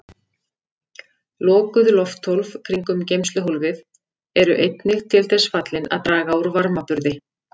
Lokuð lofthólf kringum geymsluhólfið eru einnig til þess fallin að draga úr varmaburði.